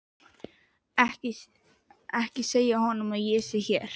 Ekki segja honum að ég sé hér.